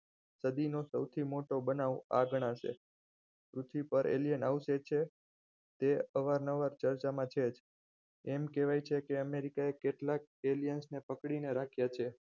સદીનો સૌથી મોટો બનાવ આ ગણાશે પૃથ્વી પર alien આવશે છે તે અવારનવાર ચર્ચામાં છે જ એમ કહેવાય છે કે America એ કેટલાક alien ને પકડીને રાખ્યા છે